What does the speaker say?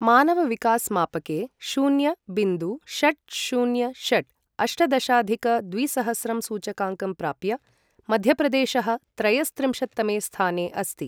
मानवविकास मापके शून्य बिन्दु षट् शून्य षट् अष्टदशाधिक द्विसहस्रं सूचकाङ्कं प्राप्य, मध्यप्रदेशः त्रयस्त्रिंशत्तमे स्थाने अस्ति।